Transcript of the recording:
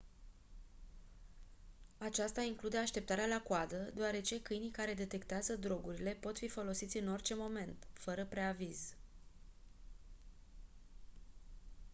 aceasta include așteptarea la coadă deoarece câinii care detectează drogurile pot fi folosiți în orice moment fără preaviz